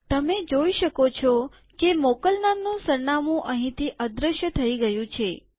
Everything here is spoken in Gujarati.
તમે જોઈ શકો છો કે મોકલનારનું સરનામું અહીંથી અદ્રશ્ય થઇ ગયું છે